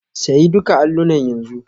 Sayi duka allunan yanzu.